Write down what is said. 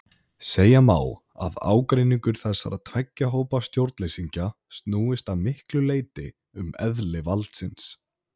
Segja má að ágreiningur þessara tveggja hópa stjórnleysingja snúist að miklu leyti um eðli valdsins.